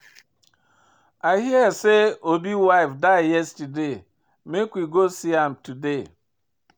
I hear say Obi wife die yesterday, make we try go see am today